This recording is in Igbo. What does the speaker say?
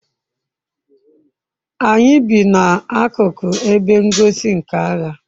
anyi bi na akuko ebe ngosi nka agha